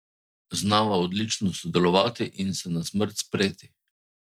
Znava odlično sodelovati in se na smrt spreti.